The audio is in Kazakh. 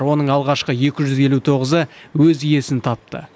оның алғашқы екі жүз елу тоғызы өз иесін тапты